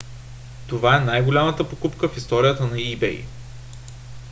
това е най-голямата покупка в историята на ebay